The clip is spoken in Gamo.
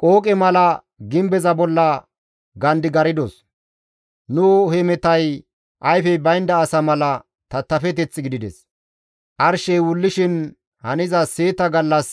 Qooqe mala gimbeza bolla gandigardos. Nu hemetay ayfey baynda asa mala tattafeteth gidides; arshey wullishin haniza seeta gallas